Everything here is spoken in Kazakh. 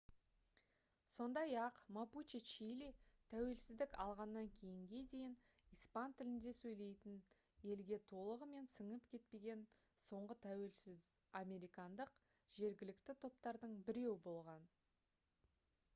сондай-ақ мапуче чили тәуелсіздік алғаннан кейінге дейін испан тілінде сөйлейтін елге толығымен сіңіп кетпеген соңғы тәуелсіз американдық жергілікті топтардың біреуі болған